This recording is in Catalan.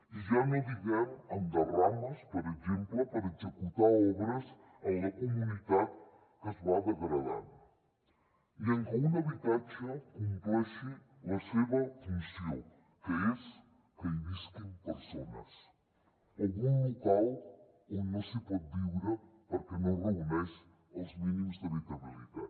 i ja no diguem en derrames per exemple per executar obres en la comunitat que es va degradant ni en que un habitatge compleixi la seva funció que és que hi visquin persones o un local on no s’hi pot viure perquè no reuneix els mínims d’habitabilitat